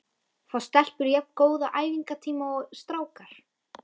Fá stelpur jafn góða æfingatíma og strákar?